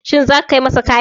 Shin zaka kai masa kayan?